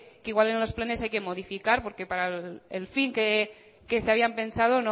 que igual en los planes hay que modificar porque para el fin que se habían pensado